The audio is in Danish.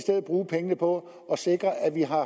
bruge pengene på at sikre at vi har